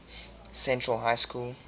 central high school